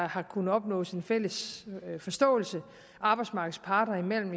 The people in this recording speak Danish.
har kunnet opnås en fælles forståelse arbejdsmarkedets parter imellem